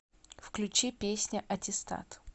включи песня аттестат